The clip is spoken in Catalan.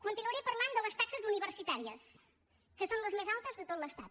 continuaré parlant de les taxes universitàries que són les més altes de tot l’estat